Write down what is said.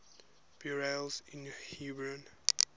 burials in hebron